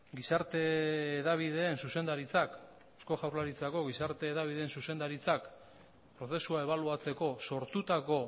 gizarte hedabideen zuzendaritzak eusko jaurlaritzako gizarte hedabideen zuzendaritzak prozesua ebaluatzeko sortutako